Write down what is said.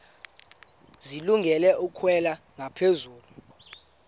zilungele ukwalekwa ngaphezulu